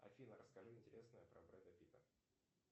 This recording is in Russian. афина расскажи интересное про бреда питта